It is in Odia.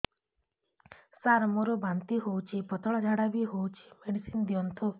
ସାର ମୋର ବାନ୍ତି ହଉଚି ପତଲା ଝାଡା ବି ହଉଚି ମେଡିସିନ ଦିଅନ୍ତୁ